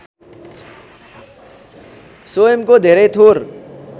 स्वयंको धेरै थोर